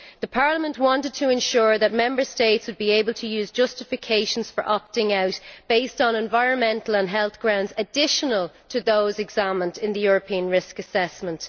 Parliament wanted to ensure that Member States would be able to use justifications for opting out based on environmental and health grounds additional to those examined in the European risk assessment.